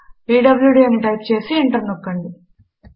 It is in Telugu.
పీడ్ల్యూడీ అని టైప్ చేసి ఎంటర్ నొక్కండి